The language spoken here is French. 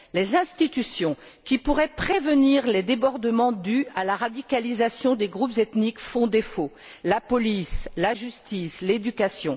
Les institutions, qui pourraient prévenir les débordements dus à la radicalisation des groupes ethniques, font défaut la police, la justice, l'éducation.